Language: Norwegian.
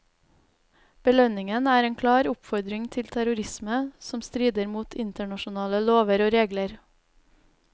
Belønningen er en klar oppfordring til terrorisme, som strider mot internasjonale lover og regler.